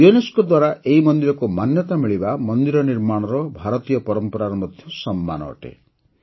UNESCO ଦ୍ୱାରା ଏହି ମନ୍ଦିରକୁ ମାନ୍ୟତା ମିଳିବା ମନ୍ଦିର ନିର୍ମାଣର ଭାରତୀୟ ପରମ୍ପରାର ମଧ୍ୟ ସମ୍ମାନ ଅଟେ